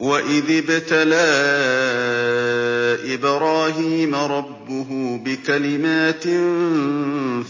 ۞ وَإِذِ ابْتَلَىٰ إِبْرَاهِيمَ رَبُّهُ بِكَلِمَاتٍ